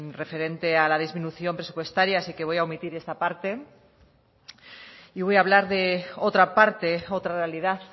referente a la disminución presupuestaria así que voy a omitir esta parte y voy a hablar de otra parte otra realidad